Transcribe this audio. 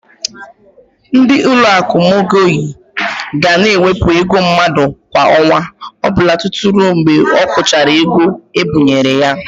Ndị Ụlọakụ Mọgeji ga na-ewepụ ego mmadụ kwa ọnwa ọbụla tutu ruo mgbe ọ kwụchara ego ebinyere ya.